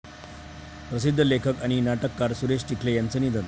प्रसिद्ध लेखक आणि नाटककार सुरेश चिखले यांचं निधन